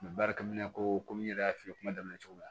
barika komi n yɛrɛ y'a f'i ye kuma daminɛ cogo min na